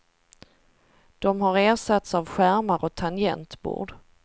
De har ersatts av skärmar och tangentbord.